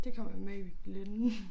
Det kommer jo med i lønnen